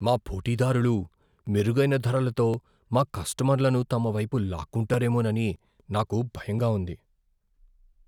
మా పోటీదారులు మెరుగైన ధరలతో మా కస్టమర్లను తమ వైపు లాక్కుంటారేమోనని నాకు భయంగా ఉంది.